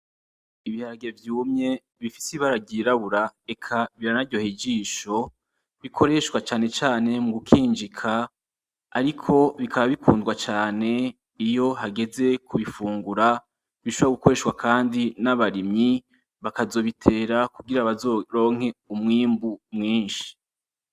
Ibiharage vyumye bifise ibara ryirabura eka biranaryoheye ijisho bikoreshwa cane cane mugukinjika ariko bikaba bikundwa cane iyo hageze kubifungura bishobora gukoreshwa kandi n’abarimyi bakazobitera kugira bazoronke umwimbu mwinshi.